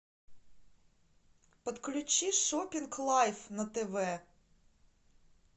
подключи шоппинг лайф на тв